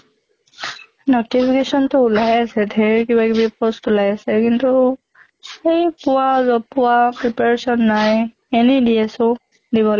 notification টো ওলাইয়ে আছে, ধেৰ কিবা কিবি post ওলাই আছে কিন্তু সেই পোৱা job পোৱা preparation নাই এনে দি আছো দিব